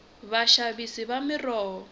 vaxavisi va miroho